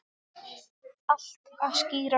Allt að skýrast